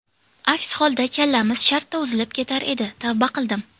Aks holda kallamiz shartta uzilib ketar edi, tavba qildim.